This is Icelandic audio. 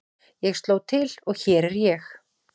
Ég sló til og hér er ég.